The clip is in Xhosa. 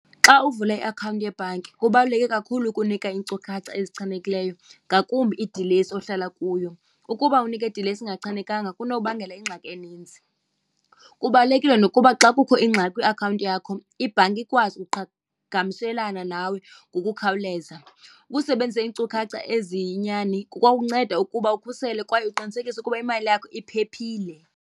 Xa uvula iakhawunti yebhanki kubaluleke kakhulu ukunika iinkcukacha ezichanekileyo ngakumbi idilesi ohlala kuyo. Ukuba unika idilesi engachanekanga kunokubangela ingxaki eninzi. Kubalulekile nokuba xa kukho ingxaki kwiakhawunti yakho ibhanki ikwazi ukuqhagamshelana nawe ngokukhawuleza. Ukusebenzisa iinkcukacha eziyinyani kukwawunceda ukuba ukhusele kwaye uqinisekise ukuba imali yakho iphephile.